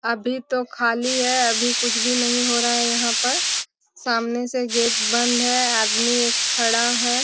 अभी तो खाली है अभी कुछ भी नही हो रहा यहाँ पर सामने से गेट बंद है आदमी एक खड़ा है।